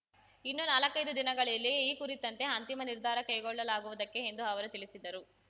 ಇನ್ನು ನಾಲ್ಕೈದು ದಿನಗಳಲ್ಲಿಯೇ ಈ ಕುರಿತಂತೆ ಅಂತಿಮ ನಿರ್ಧಾರ ಕೈಕೊಳ್ಳಲಾಗುವುದಕ್ಕೆ ಎಂದು ಅವರು ತಿಳಿಸಿದರು